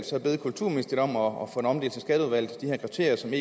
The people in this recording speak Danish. så bede kulturministeriet om at få det omdelt til skatteudvalget så vi